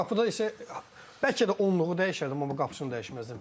Qapıda isə bəlkə də onluğu dəyişərdim, amma qapısını dəyişməzdim.